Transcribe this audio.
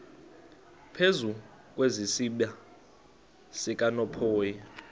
phezu kwesiziba sikanophoyi